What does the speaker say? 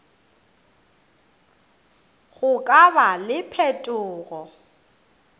go ka ba le phetogo